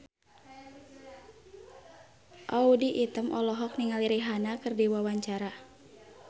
Audy Item olohok ningali Rihanna keur diwawancara